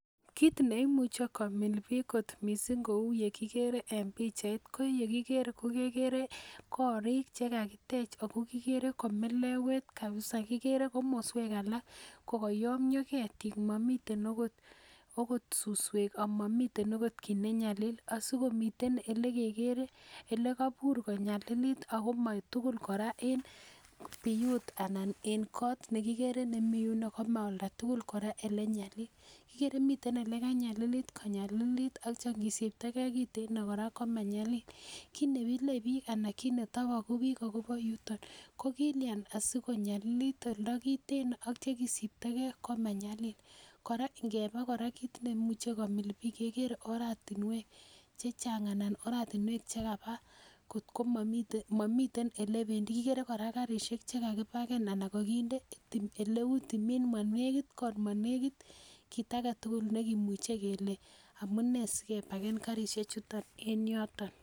Kit neimuche komil bik kot missing kou yekikere en pichait ko yekikere kekere korik chekakitech Ako kokere ko melewet kabisa kikere komoswek alak ko koyomyo ketit momiten okot suswek amomiten okot kit nenyali asikomite ele kekere ele kobur konyalilit Ako kotulil koraa en niyut anan ek kot nekikere nemii huko komo olda tukul koraa ele nyalil. Kikere mite ele kanyakilit konyalilit ak ityo nkisiptogee kiteno koraa komanyalil kit nemile bik ana kit netoboku bik akobo yuton ko kilyan asikonyalilit oldo kiteno ak ityo kidiptogee komanyalil. Koraa nkeba kit neimuche komil bik kekere oratunwek chechang ana oratunwek chekaba kotko momiten momiten ele pendii kikere koraa karishek chekekipagen ana kokinde oleu timin monekit kot monekit kit agetutuk nekimuche kele amunee sikepaken karishek chuton en yoton.